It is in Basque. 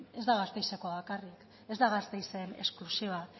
ez da gasteizekoa bakarrik ez da gasteizen esklusiba